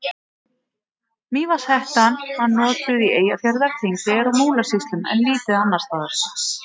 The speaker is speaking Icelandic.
Mývatnshettan var notuð í Eyjafjarðar-, Þingeyjar- og Múlasýslum en lítið annars staðar.